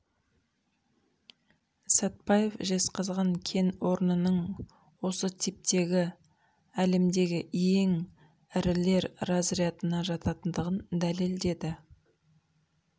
сәтбаев жезқазған кен орнының осы типтегі әлемдегі ең ірілер разрядына жататындығын дәлелдеді